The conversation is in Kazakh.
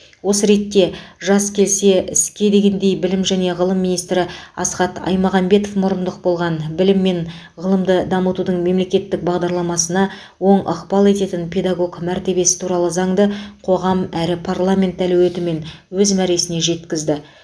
осы ретте жас келсе іске дегендей білім және ғылым министрі асхат аймағамбетов мұрындық болған білім мен ғылымды дамытудың мемлекеттік бағдарламасына оң ықпал ететін педагог мәртебесі туралы заңды қоғам әрі парламент әлеуетімен өз мәресіне жеткізді